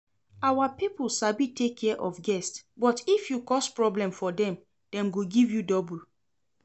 Our people sabi take care of guest but if you cause problem for dem, dem go give you double